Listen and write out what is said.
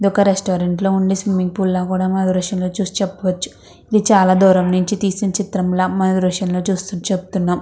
ఇది ఒక రెస్టారెంట్ లో వుండే స్విమ్మింగ్ పూల్ లా కూడా మనం దృశ్యం చూసి చెప్పొచ్చు ఇది చాల దూరం నుంచి తీసిన చిత్రం లా మనం దృశ్యం లో చూస్తూ చెప్తున్నాం.